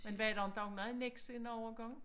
Men ved du om der var meget nags en overgang